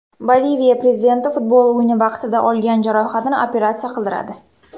Boliviya prezidenti futbol o‘yini vaqtida olgan jarohatini operatsiya qildiradi.